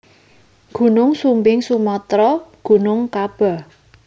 Gunung Sumbing Sumatra Gunung Kaba